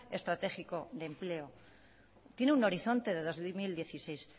estratégico de empleo tiene un horizonte de dos mil dieciséis